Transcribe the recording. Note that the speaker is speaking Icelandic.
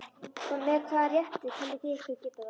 Með hvaða rétti teljið þið ykkur geta það?